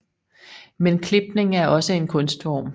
Men klipning er også en kunstform